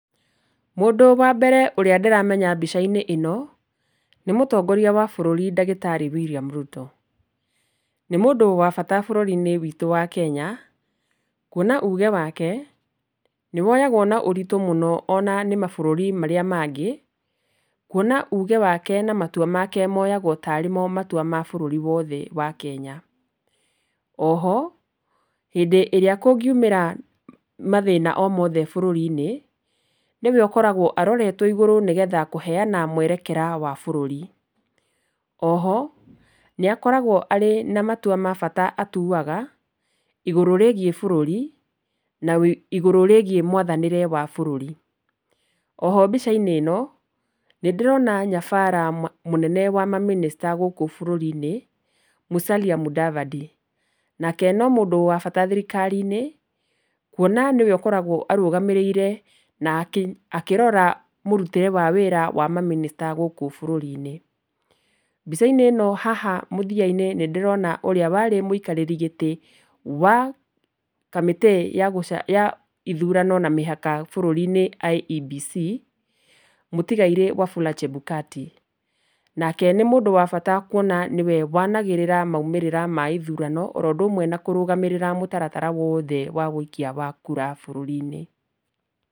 Mũndũ wa mbere ũrĩa ndĩramenya mbica-inĩ ĩno nĩ mũtongoria wa bũrũri ndagĩtarĩ William Ruto. Nĩ mũndũ wa bata bũrũri-inĩ wĩtũ wa Kenya kwona uge wake nĩwoyagwo na ũritũ mũno ona nĩ mabũrũri marĩa mangĩ, kwona uge wake na matua make moyagwo tarĩ mo matua ma bũrũri wothe wa kenya. Oho, hĩndĩ ĩrĩa kũngiumĩra mathĩna o mothe bũrũri-inĩ, nĩwe ũkoragwo aroretwo igũrũ nĩgetha kũheana mwerekera wa bũrũri. Oho nĩakoragwo arĩ na matua ma bata atuaga igũrũ rĩigiĩ bũrũri na wĩ, ĩgũrũ rĩigiĩ mwathanĩre wa bũrũri. Oho mbica-inĩ ĩno nĩndĩrona nyabara ma, mũnene wa mamĩnĩsta gũkũ bũrũri-inĩ Musalia Mudavadi. Nake no mũndũ wa bata thirikari-inĩ kwona nĩwe ũkoragwo arũgamĩrĩire na kĩ, akĩrora mũrutĩre wa wĩra wa mamĩnĩsta gũkũ bũrũri-inĩ. Mbica-inĩ ĩno haha mũthia-inĩ nĩndĩrona ũrĩa warĩ mwĩkarĩri gĩtĩ wa kamĩtĩ ya gũca, ya ithurano na mĩhaka bũrũri-inĩ IEBC, mũtigairĩ Wafula Chebukati. Nake nĩ mũndũ wa bata kwona nĩwe wanagĩrĩra maumĩrĩra ma ithurano, oro ũndũ ũmwe na kũrũgamĩrĩra mũtaratara wothe wa wũikia wa kura bũrũri-inĩ.